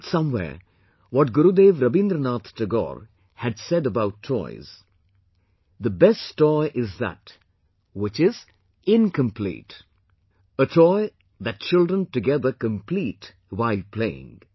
I read somewhere what Gurudev Rabindranath Tagore had said about toys, the best toy is that which is incomplete; a toy that children together complete while playing